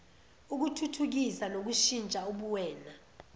ukuthuthukisa nokushintsha ubuwena